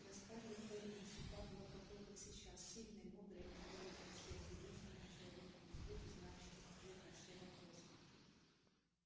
для скарлетт эллин всегда была такой как сейчас сильной мудрой опорой для всех единственным человеком на свете знающим ответ на все вопросы